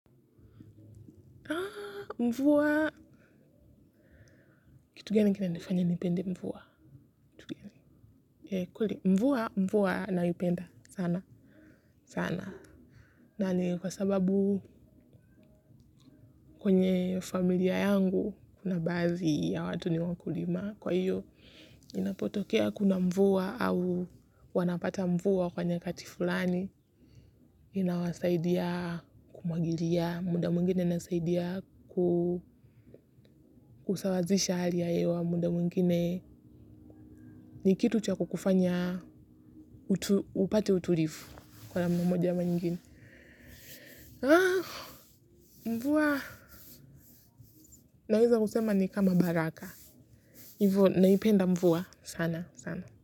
Mvua. Kitu gani kinanifanya nipende mvua. Kweli mvua naipenda sana sana. Na ni kwa sababu kwenye familia yangu kuna baadhi ya watu ni wakulima kwa hiyo inapotokea kuna mvua au wanapata mvua kwa nyakati fulani inawasaidia kumwagilia muda mwingine inasaidia kusawazisha hali ya hewa muda mwingine. Ni kitu cha kukufanya upate utulivu kwa namna moja ama nyingine mvua naweza kusema ni kama baraka hivo naipenda mvua sana sana.